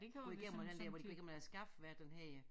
Går igennem og den der hvor de går gennem et skab hvad er det den hedder